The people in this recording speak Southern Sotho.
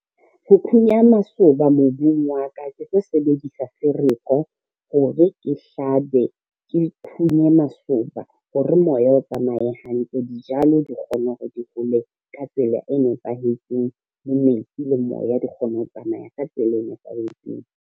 Ho phunya masoba mobung wa ka, ke tlo sebedisa fereko hore ke hlabe, ke phunye masoba hore moya o tsamaye hantle. Dijalo di kgone hore di hole ka tsela e nepahetseng le metsi le moya, di kgone ho tsamaya ka tsela e nepahetseng.